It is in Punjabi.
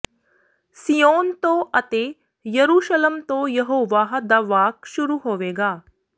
ਸੀਯੋਨ ਤੋਂ ਅਤੇ ਯਰੂਸ਼ਲਮ ਤੋਂ ਯਹੋਵਾਹ ਦਾ ਵਾਕ ਸ਼ੁਰੂ ਹੋਵੇਗਾ